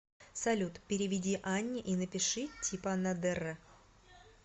салют переведи анне и напиши типа на др